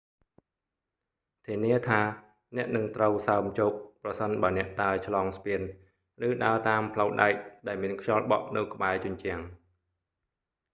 ធានាថា អ្នកនឹងត្រូវសើមជោគ ប្រសិនបើអ្នកដើរឆ្លងស្ពាន ឬដើរតាមផ្លូវដែកដែលមានខ្យល់បក់នៅក្បែរជញ្ជាំង